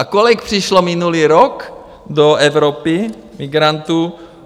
A kolik přišlo minulý rok do Evropy migrantů?